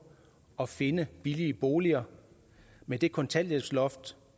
at finde billigere boliger med det kontanthjælpsloft